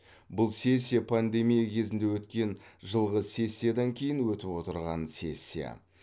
бұл сессия пандемия кезінде өткен жылғы сессиядан кейін өтіп отырған сессия